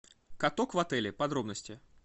каток в отеле подробности